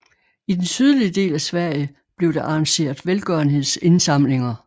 I den sydlige del af Sverige blev der arrangeret velgørenhedsindsamlinger